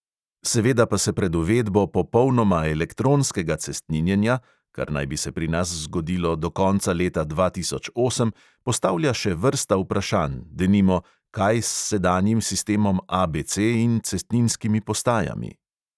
Seveda pa se pred uvedbo popolnoma elektronskega cestninjenja, kar naj bi se pri nas zgodilo do konca leta dva tisoč osem, postavlja še vrsta vprašanj, denimo, kaj s sedanjim sistemom ABC in cestninskimi postajami.